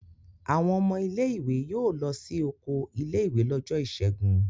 Àwọn ọmọ ilé-ìwé yóò lọ sí oko ilé-ìwé lọ́jọ́ ìṣẹ́gun.